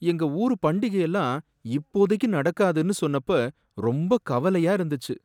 எங்க ஊரு பண்டிகை எல்லாம் இப்போதைக்கு நடக்காதுன்னு சொன்னப்ப ரொம்ப கவலையா இருந்துச்சு.